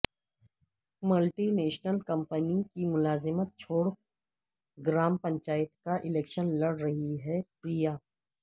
multi national company کی ملازمت چھوڑ گرام پنچایت کا الیکشن لڑ رہی ہیں پریا